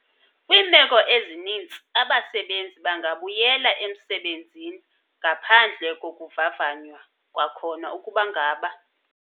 Kwiimeko ezinintsi, abasebenzi bangabuyela emsebenzini ngaphandle kokuvavanywa kwakhona ukuba ngaba.